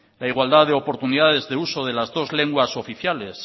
la igualdad de oportunidades de uso de las dos lenguas oficiales